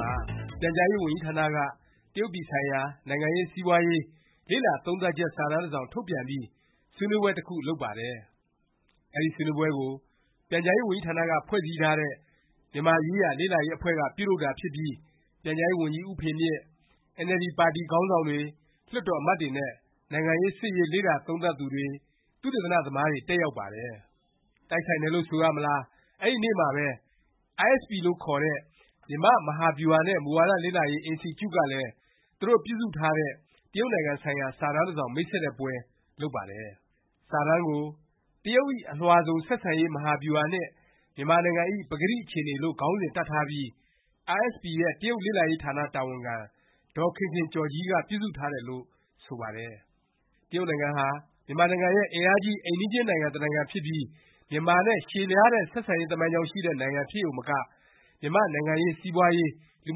မှာ ပြန်ကြားရေးဝန်ကြီးဌာနက တရုတ်ပြည်ဆိုင်ရာ နိုင်ငံရေး၊ စီးပွားရေး လေ့လာသုံးသပ်ချက် စာတမ်း တစောင် ထုတ်ပြန်ပြီး ဆွေးနွေးပွဲ တခု လုပ်ပါတယ်။ အဲဒီဆွေးနွေးပွဲကို ပြန်ကြားရေးဝန်ကြီးဌာနက ဖွဲ့စည်းထားတဲ့ မြန်မာရေးရာ လေ့လာရေး အဖွဲ့က ပြုလုပ်တာဖြစ်ပြီး ပြန်ကြားရေးဝန်ကြီး ဦးဖေမြင့်၊ အင်န်အယ်လ်ဒီ ပါတီ ခေါင်းဆောင်တွေ၊ လွှတ်တော် အမတ်တွေနဲ့ နိုင်ငံရေး၊ စစ်ရေး လေ့လာသုံးသပ်သူတွေ သုတေသီတွေတက်ရောက်ပါတယ်။ တိုက်ဆိုင်တယ်လို့ ဆိုရမလား၊ အဲဒီနေ့မှာပဲ iSP လို့ခေါ်တဲ့ မြန်မာ့ မဟာဗျူဟာနဲ့ မူဝါဒ လေ့လာရေး အင်စတီကျုကလည်း သူတို့ ပြုစုထားတဲ့ တရုတ်နိုင်ငံ ဆိုင်ရာ စာတမ်းတစောင် မိတ်ဆက်တဲ့ ပွဲ လုပ်ပါတယ်။ စာတမ်းကို “ တရုတ်၏ အလွှာစုံ ဆက်ဆံရေး မဟာဗျူဟာနှင့် မြန်မာနိုင်ငံ၏ ပကတိ အခြေအနေ လို့ ခေါင်းစဉ် တပ်ထားပြီး iSP ရဲ့ တရုတ်လေ့လာရေး ဌာန တာဝန်ခံ ဒေါ်ခင်ခင်ကျော်ကြီး ပြုစုထားတယ်လို့ ဆိုပါတယ်။ တရုတ်နိုင်ငံဟာ မြန်မာနိုင်ငံရဲ့ အင်အားကြီး အိမ်နီးချင်းနိုင်ငံ တနိုင်ငံဖြစ်ပြီး မြန်မာနဲ့ ရှည်လျားတဲ့ ဆက်ဆံရေးသမိုင်းကြောင်း ရှိတဲ့ နိုင်ငံ ဖြစ်ရုံမက မြန်မာ့ နိုင်ငံရေး၊ စီးပွားရေး၊ လူ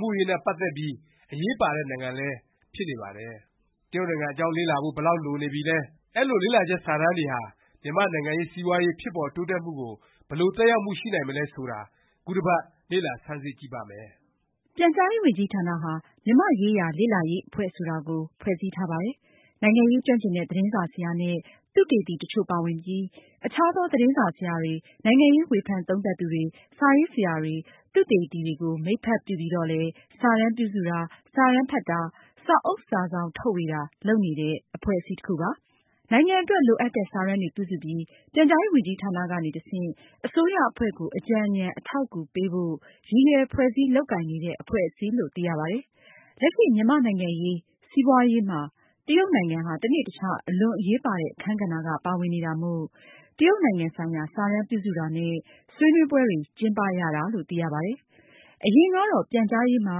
မှုရေးနဲ့ ပတ်သက်ပြီး အရေးပါတဲ့ နိုင်ငံလည်း ဖြစ်နေပါတယ်။ တရုတ်နိုင်ငံအကြောင်း လေ့လာဖို့ ဘယ်လောက် လိုနေပြီလဲ၊ အဲလို လေ့လာချက် စာတမ်းတွေဟာ မြန်မာ့ နိုင်ငံရေး၊ စီးပွားရေး ဖြစ်ပေါ်တိုးတက်မှုကို ဘယ်လို သက်ရောက်မှု ရှိနိုင်မလဲ ဆိုတာ ခုတပတ် လေ့လာဆန်းစစ်ကြည့်ပါမယ်။ ပြန်ကြားရေးဝန်ကြီးဌာနဟာ မြန်မာ့ရေးရာ လေ့လာရေး အဖွဲ့ ဆိုတာကို ဖွဲ့စည်းထားပါတယ်။ နိုင်ငံရေးကျွမ်းကျင်တဲ့ သတင်းစာဆရာ နဲ့ သုတေသီ တချို့ပါဝင်ပြီး အခြားသော သတင်းစာဆရာတွေ၊ နိုင်ငံရေး ဝေဖန်သုံးသပ်သူတွေ၊ စာရေးဆရာတွေ၊ သုတေသန သမားတွေကို မိတ်ဖက်ပြုပြီးတော့လည်း စာတမ်းပြုစုတာ၊ စာတမ်းဖတ်တာ၊ စာအုပ် စာစောင် ထုတ်ဝေတာ လုပ်နေတဲ့ အဖွဲ့အစည်းတခုပါ။ နိုင်ငံအတွက် လိုအပ်တဲ့ စာတမ်းတွေ ပြုစုပြီး ပြန်ကြားရေးဝန်ကြီးဌာန ကနေ တဆင့် အစိုးရအဖွဲ့ကို အကြံဉာဏ် အထောက်အကူ ပေးဖို့ ရည်ရွယ်ဖွဲ့စည်း လုပ်ကိုင်နေတဲ့ အဖွဲ့အစည်းလို့ သိရပါတယ်။ လက်ရှိ မြန်မာ့နိုင်ငံရေး၊ စီးပွားရေးမှာ တရုတ်နိုင်ငံဟာ တနေ့တခြား အလွန်အရေးပါတဲ့ အခန်းကဏ္ဍက ပါဝင်နေတာမို့ တရုတ်နိုင်ငံ ဆိုင်ရာ စာတမ်းပြုစုတာနဲ့ ဆွေးနွေးပွဲတွေ ကျင်းပရတာလို့ သိရပါတယ်။ အရင်ကတော့ ပြန်ကြားရေးမှာ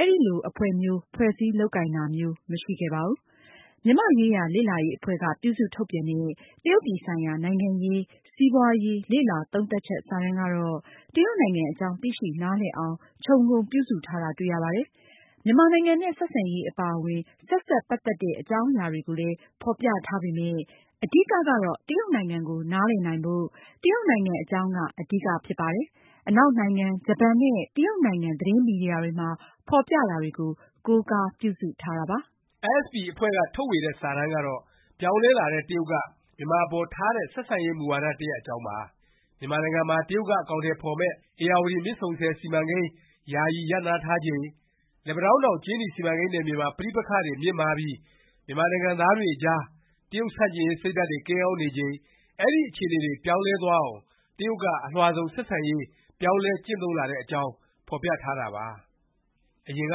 အဲလို အဖွဲ့မျိုး ဖွဲ့စည်းလုပ်ကိုင်တာမျိုးတော့ မရှိခဲ့ပါဘူး။ မြန်မာရေးရာ လေ့လာရေး အဖွဲ့က ပြုစုထုတ်ပြန်တဲ့ တရုတ်ပြည်ဆိုင်ရာ နိုင်ငံရေး၊ စီးပွားရေး လေ့လာသုံးသပ်ချက် စာတမ်းကတော့ တရုတ်နိုင်ငံအကြောင်း သိရှိနားလည်နိုင်အောင် ခြုံငုံပြုစုထားတာ တွေ့ရပါတယ်။ မြန်မာနိုင်ငံနဲ့ ဆက်ဆံရေး အပါအဝင် ဆက်စပ်ပတ်သက်တဲ့ အကြောင်းအရာတွေကိုလည်း ဖော်ပြထားပေမယ့် အဓိကကတော့ တရုတ်နိုင်ငံကို နားလည်နိုင်ဖို့၊ တရုတ်နိုင်ငံအကြောင်းက အဓိက ဖြစ်ပါတယ်။ အနောက်နိုင်ငံ၊ ဂျပန်နဲ့ တရုတ်နိုင်ငံ သတင်းမီဒီယာတွေမှာ ဖော်ပြတာတွေကို ကိုးကားပြုစုထားတာပါ။ iSP အဖွဲ့က ထုတ်ဝေတဲ့ စာတမ်းကတော့ ပြောင်းလဲလာတဲ့ တရုတ်က မြန်မာအပေါ် ထားတဲ့ ဆက်ဆံရေး မူဝါဒ တရပ် အကြောင်းပါ။ မြန်မာနိုင်ငံမှာ တရုတ်က အကောင်အထည် ဖော်မယ့် ဧရာဝတီမြစ်ဆုံဆည် စီမံကိန်း ယာယီ ရပ်နားထားချိန်၊ လက်ပန်းတောင်းတောင် ကြေးနီ စီမံကိန်းနယ်မြေမှာ ပဋိပက္ခတွေ မြင့်မားပြီး မြန်မာနိုင်ငံသားတွေ အကြား တရုတ်ဆန့်ကျင်ရေး စိတ်ဓာတ်တွေ ကိန်းအောင်းနေချိန် အဲဒီ အခြေအနေတွေ ပြောင်းလဲသွားအောင် တရုတ်က အလွှာစုံ ဆက်ဆံရေး ပြောင်းလဲ ကျင့်သုံးလာတဲ့အကြောင်း ဖော်ပြထားတာပါ။ အရင်က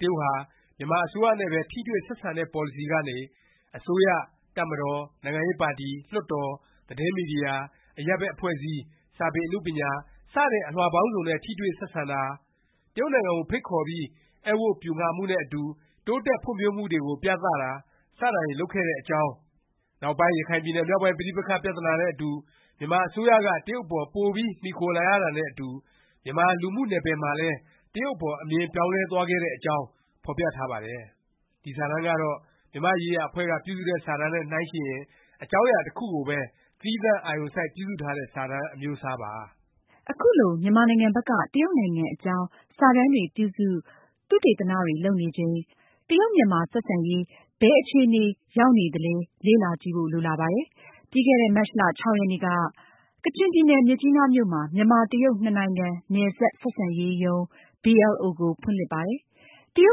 တရုတ်ဟာ မြန်မာအစိုးရနဲ့ပဲ ထိတွေ့ ဆက်ဆံတဲ့ ပေါ်လစီကနေ အစိုးရ၊ တပ်မတော်၊ နိုင်ငံရေးပါတီ၊ လွှတ်တော်၊ သတင်းမီဒီယာ၊ အရပ်ဘက် အဖွဲ့အစည်း၊ စာပေအနုပညာ စတဲ့ အလွှာပေါင်းစုံနဲ့ ထိတွေ့ဆက်ဆံတာ၊ တရုတ်နိုင်ငံကို ဖိတ်ခေါ်ပြီး ဧည့်ဝတ်ပျူငှာမှုနဲ့အတူ တိုးတက်ဖွံ့ဖြိုးမှုတွေကို ပြသတာ စတာတွေ လုပ်ခဲ့တဲ့ကြောင်း၊ နောက်ပိုင်း ရခိုင်ပြည်နယ်မြောက်ပိုင်း ပဋိပက္ခ ပြသနာနဲ့အတူ မြန်မာအစိုးရက တရုတ်အပေါ် ပိုပြီး မှီခိုလာရတာနဲ့အတူ မြန်မာလူမှုနယ်ပယ်မှာလည်း တရုတ်အပေါ် အမြင် ပြောင်းလဲသွားခဲ့တဲ့အကြောင်း ဖော်ပြထားပါတယ်။ ဒီစာတမ်းကတော့ မြန်မာ့ရေးရာ အဖွဲ့က ပြုစုတဲ့ စာတမ်းနဲ့ နှိုင်းယှဉ်ရင် အကြောင်းအရာ တခုကိုပဲ သီးသန့် အာရုံစိုက် ပြုစုထားတဲ့ စာတမ်း အမျိုးအစားပါ။ အခုလို မြန်မာနိုင်ငံဘက်က တရုတ်နိုင်ငံအကြောင်း စာတမ်းတွေ ပြုစု၊ သုတေသနတွေ လုပ်နေချိန် တရုတ်မြန်မာ အဆက်အစပ် ဘယ်အခြေအနေ ရောက်နေသလဲ လေ့လာကြည့်ဖို့ လိုလာပါတယ်။ ပြီးခဲ့တဲ့ မတ်လ ၆ ရက်နေ့က ကချင်ပြည်နယ် မြစ်ကြီးနားမြို့မှာ မြန်မာ-တရုတ် နှစ်နိုင်ငံ နယ်စပ် ဆက်ဆံရေးရုံး BLO ကို ဖွင့်လှစ်ပါတယ်။ တရု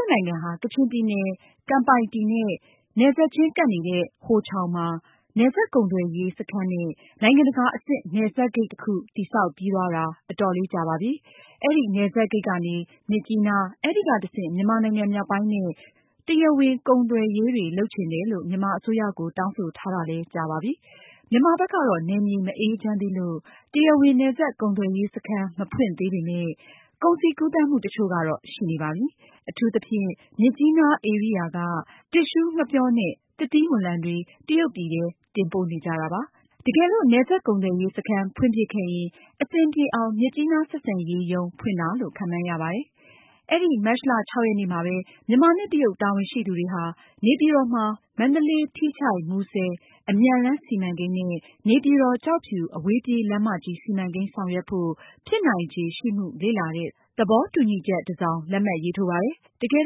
တ်နိုင်ငံဟာ ကချင်ပြည်နယ် ကမ်ပိုင်တီ နဲ့ နယ်စပ်ခြင်းကပ်နေတဲ့ ဟိုချောင်မှာ နယ်စပ်ကုန်ကုန်သွယ်ရေး စခန်းနဲ့ နိုင်ငံတကာ အဆင့် နယ်စပ်ဂိတ် တစ်ခု တည်ဆောက်ပြီးသွားတာ အတော်လေးကြာပါပြီ။ အဲဒီနယ်စပ်ဂိတ်ကနေ မြစ်ကြီးနား၊ အဲဒီက တဆင့် မြန်မာနိုင်ငံ မြောက်ပိုင်းနဲ့ တရားဝင် ကုန်သွယ်ရေးတွေ လုပ်ချင်တယ်လို့ မြန်မာအစိုးရကို တောင်းဆိုထားတာလည်း ကြာပါပြီ။ မြန်မာဘက်ကတော့ နယ်မြေ မအေးချမ်းသေးလို့ တရားဝင် နယ်စပ် ကုန်သွယ်ရေးစခန်း မဖွင့်သေးပေမယ့် ကုန်စည်ကူးသန်းမှုတချို့တော့ ရှိနေပါပြီ။ အထူးသဖြင့် မြစ်ကြီးနား ဧရိယာက တစ်သျှူးငှက်ပျောနဲ့ သစ်သီးဝလံတွေ တရုတ်ပြည်ထဲ တင်ပို့နေကြတာပါ။ တကယ်လို့ နယ်စပ် ကုန်သွယ်ရေး စခန်း ဖွင့်ဖြစ်ခဲ့ရင် အဆင်ပြေအောင် မြစ်ကြီးနား ဆက်ဆံရေးရုံး ဖွင့်တာလို့ ခန့်မှန်းရပါတယ်။ အဲဒီ မတ်လ ၆ ရက်နေ့မှာပဲ မြန်မာနဲ့ တရုတ် တာဝန်ရှိသူတွေဟာ နေပြည်တော်မှာ မန္တလေး- ထီးချိုင့်- မူဆယ် အမြန်လမ်း စီမံကိန်း နဲ့ နေပြည်တော်-ကျောက်ဖြူ အဝေးပြေးလမ်းမကြီး စီမံကိန်း ဆောင်ရွက်ဖို့ ဖြစ်နိုင်ခြေ ရှိမှု လေ့လာတဲ့ သဘောတူညီချက် တစောင် လက်မှတ်ရေးထိုးပါတယ်။ တကယ်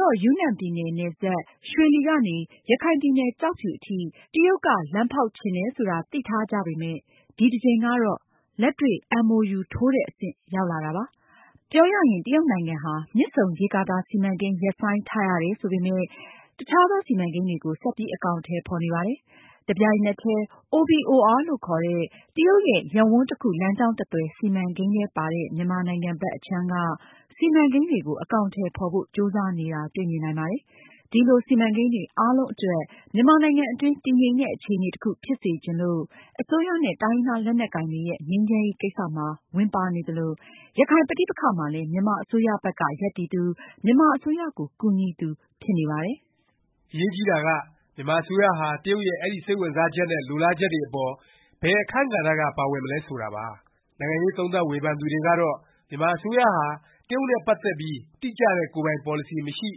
တော့ ယူနန်ပြည်နယ် နယ်စပ် ရွှေလီကနေ ရခိုင်ပြည်နယ် ကျောက်ဖြူအထိ တရုတ်က လမ်းဖေါက်ချင်တယ် ဆိုတာ သိထားကြပေမယ့် ဒီတကြိမ်ကတော့ လက်တွေ့ MoU ထိုးတဲ့ အဆင့် ရောက်လာတာပါ။ ပြောရရင် တရုတ်နိုင်ငံဟာ မြစ်ဆုံရေကာတာ စီမံကိန်း ရပ်ဆိုင်းထားရတယ် ဆိုပေမယ့် တခြားသော စီမံကိန်းတွေကို ဆက်ပြီး အကောင်အထည် ဖော်နေပါတယ်။ တပြိုင်နက်တည်း OBOR လို့ခေါ်တဲ့ တရုတ်ရဲ့ ရပ်ဝန်းတစ်ခု လမ်းကြောင်းတစ်သွယ် စီမံကိန်းထဲပါတဲ့ မြန်မာနိုင်ငံဘက် အခြမ်းက စီမံကိန်းတွေကို အကောင်အထည် ဖော်ဖို့ ကြိုးစားနေတာ တွေ့မြင်နိုင်ပါတယ်။ ဒီလို စီမံကိန်းတွေ အားလုံးအတွက် မြန်မာနိုင်ငံအတွင်း တည်ငြိမ်တဲ့ အခြေအနေတခု ဖြစ်စေချင်လို့ အစိုးရနဲ့ တိုင်းရင်းသား လက်နက်ကိုင်တွေရဲ့ ငြိမ်းချမ်းရေး ကိစ္စမှာ ဝင်ပါနေသလို၊ ရခိုင်ပဋိပက္ခမှာလည်း မြန်မာ အစိုးရဘက်က ရပ်တည်သူ၊ မြန်မာအစိုးရကို ကူညီသူ ဖြစ်နေပါတယ်။ အရေးကြီးတာက မြန်မာအစိုးရဟာ တရုတ်ရဲ့ အဲဒီ စိတ်ဝင်စားချက် နဲ့ လိုလားချက်တွေအပေါ် ဘယ်အခန်းကဏ္ဍက ပါဝင်မလဲ ဆိုတာပါ။ နိုင်ငံရေး သုံးသပ်ဝေဖန်သူတွေကတော့ မြန်မာအစိုးရဟာ တရုတ်နဲ့ ပတ်သက်ပြီး တိကျတဲ့ ကိုယ်ပိုင် ပေါ်လစီ မရှိ၊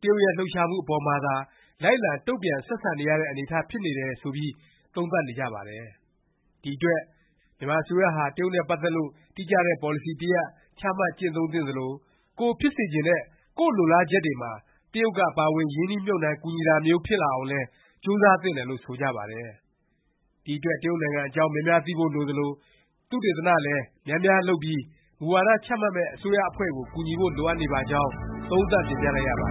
တရုတ်ရဲ့ လှုပ်ရှားမှု အပေါ်မှာသာ လိုက်လံ တုန့်ပြန် ဆက်ဆံနေရတဲ့ အနေအထား ဖြစ်နေတယ် ဆိုပြီး သုံးသပ်နေကြပါတယ်။ ဒီအတွက် မြန်မာအစိုးရဟာ တရုတ်နဲ့ ပတ်သက်လို့ တိကျတဲ့ ပေါ်လစီ တရပ် ချမှတ်ကျင့်သုံးသင့်သလို၊ ကိုယ်ဖြစ်စေချင်တဲ့ ကိုယ့်လိုလားချက်တွေမှာ တရုတ်က ပါဝင် ရင်းနှီးမြှုပ်နှံ ကူညီတာမျိုး ဖြစ်လာအောင်လည်း ကြိုးစားသင့်တယ်လို့ ဆိုကြပါတယ်။ ဒီအတွက် တရုတ်နိုင်ငံအကြောင်း များများသိဖို့ လိုသလို၊ သုတေသနလည်း များများ လုပ်ပြီး မူဝါဒ ချမှတ်မယ့် အစိုးရအဖွဲ့ကို ကူညီဖို့ လိုအပ်နေပါကြောင်း သုံးသပ်တင်ပြလိုက်ရပါ